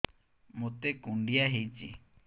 ମୋତେ କୁଣ୍ଡିଆ ହେଇଚି